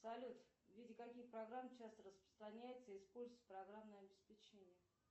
салют в виде каких программ часто распространяется и используется программное обеспечение